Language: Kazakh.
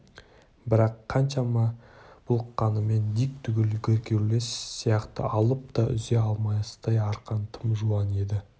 бірақ қаншама бұлқынғанымен дик түгіл геркулес сияқты алып та үзе алмастай арқан тым жуан еді